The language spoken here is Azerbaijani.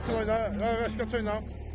Qaçırma, nə vaxtı qaçırma yox.